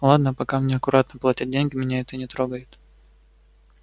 ладно пока мне аккуратно платят деньги меня это не трогает